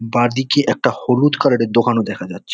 বাঁদিকে একটা হলুদ কালার -এর দোকানও দেখা যাচ্ছে।